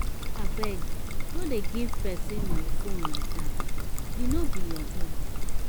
abeg no dey give person my phone like dat. e no be your own.